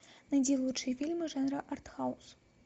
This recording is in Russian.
найди лучшие фильмы жанра артхаус